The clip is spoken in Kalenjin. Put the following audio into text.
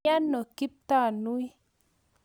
Miano Kiptanui?